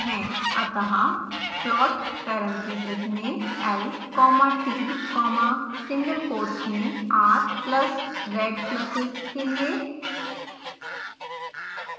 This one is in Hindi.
अतः plot parentheses में l comma t comma single quotes में r plus रेड pluses के लिए